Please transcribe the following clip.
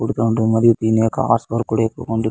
పొడుగా ఉంటుంది మరి దీని కాస్ట్ కూడా ఎక్కువ ఉంటుంది.